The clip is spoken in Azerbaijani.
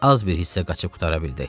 Az bir hissə qaçıb qurtara bildi.